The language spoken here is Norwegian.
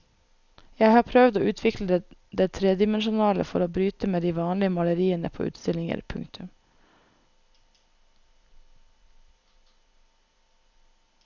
Jeg har prøvd å utvikle det tredimensjonale for å bryte med de vanlige maleriene på utstillinger. punktum